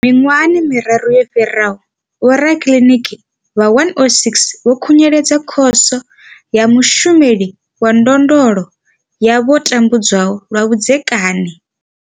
Miṅwaha miraru yo fhiraho, vhorakiliniki vha 106 vho khunyeledza Khoso ya Mushumeli wa Ndondolo ya vho tambudzwaho lwa vhudzekani.